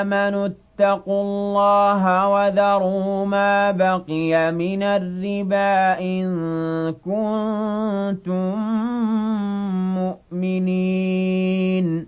آمَنُوا اتَّقُوا اللَّهَ وَذَرُوا مَا بَقِيَ مِنَ الرِّبَا إِن كُنتُم مُّؤْمِنِينَ